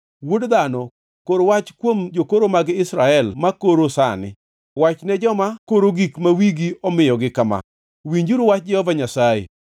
“Wuod dhano, kor wach kuom jokoro mag Israel makoro sani. Wachne joma koro gik ma wigi omiyogi kama: ‘Winjuru wach Jehova Nyasaye!